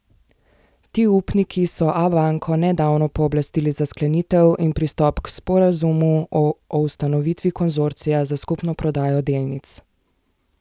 Ti upniki so Abanko nedavno pooblastili za sklenitev in pristop k sporazumu o ustanovitvi konzorcija za skupno prodajo delnic.